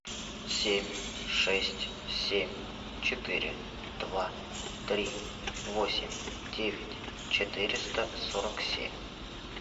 семь шесть семь четыре два три восемь девять четыреста сорок семь